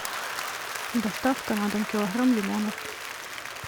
доставка на дом килограмм лимонов